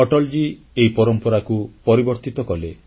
ଅଟଲଜୀ ଏହି ପରମ୍ପରାକୁ ପରିବର୍ତ୍ତିତ କଲେ